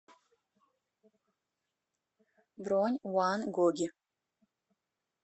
бронь ван гоги